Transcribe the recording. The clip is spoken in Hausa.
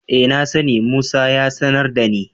E, na sani, Musa ya sanar da ni.